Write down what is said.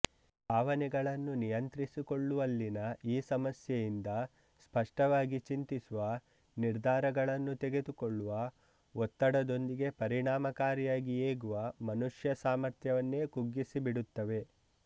ಭಾವನೆಗಳನ್ನು ನಿಯಂತ್ರಿಸಿಕೊಳ್ಳುವಲ್ಲಿನ ಈ ಸಮಸ್ಯೆಯಿಂದ ಸ್ಪಷ್ಟವಾಗಿ ಚಿಂತಿಸುವ ನಿರ್ಧಾರಗಳನ್ನು ತೆಗೆದುಕೊಳ್ಳುವ ಒತ್ತಡದೊಂದಿಗೆ ಪರಿಣಾಮಕಾರಿಯಾಗಿ ಏಗುವ ಮನುಷ್ಯ ಸಾಮರ್ಥ್ಯವನ್ನೇ ಕುಗ್ಗಿಸಿಬಿಡುತ್ತವೆ